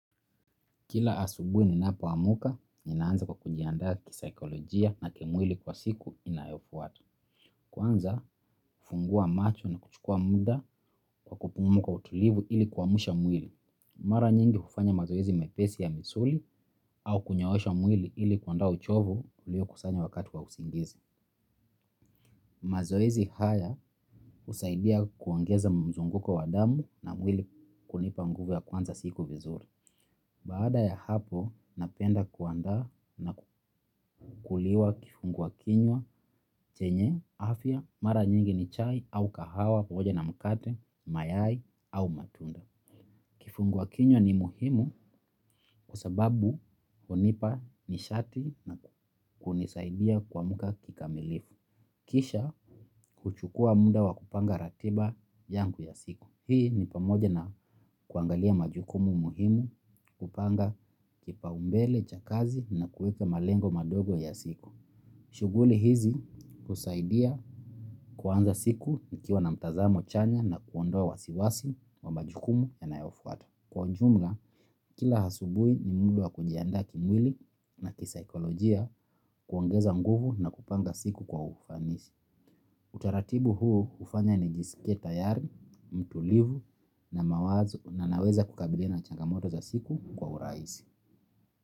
Kila asubui ni napo amuka, ninaanza kwa kujiandaa kisakolojia na kimwili kwa siku inayofuwata. Kwanza, funguwa macho na kuchukuwa muda kwa kupumuwa kwa utulivu ili kuwamusha mwili. Mara nyingi hufanya mazoezi mepesi ya misuli au kunyoosha mwili ili kuondoa uchovu ulio kusanya wakati wa usingizi. Mazoezi haya husaidia kuongeza mzunguko wa damu na mwili kunipa nguvu ya kuanza siku vizuri. Baada ya hapo, napenda kuandaa na kukuliwa kifunguwa kinywa, chenye, afya, mara nyingi ni chai, au kahawa, pamoja na mkate, mayai, au matunda. Kifunguwa kinywa ni muhimu kwa sababu hunipa nishati na kunisaidia kuamuka kikamilifu. Kisha, kuchukuwa muda wa kupanga ratiba yangu ya siku. Hii ni pamoja na kuangalia majukumu muhimu kupanga kipaumbele, cha kazi na kuweke malengo madogo ya siku. Shughuli hizi husaidia kuwanza siku nikiwa na mtazamo chanya na kuondoa wasiwasi wa majukumu yanayofwata. Kwa jumla kila asubui ni muda wa kujindaa kimwili na kisakolojia kuongeza nguvu na kupanga siku kwa ufanisi. Utaratibu huu hufanya nijisike tayari, mtulivu na mawazo na naweza kukabilina changamoto za siku kwa urahisi.